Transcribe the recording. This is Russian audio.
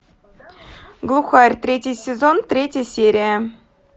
глухарь третий сезон третья серия